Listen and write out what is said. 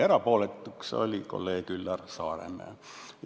Erapooletuks jäi kolleeg Üllar Saaremäe.